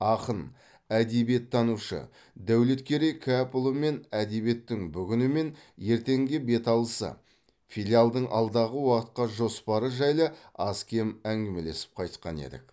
ақын әдебиеттанушы дәулеткерей кәпұлымен әдебиеттің бүгіні мен ертеңге беталысы филиалдың алдағы уақытқа жоспары жайлы аз кем әңгімелесіп қайтқан едік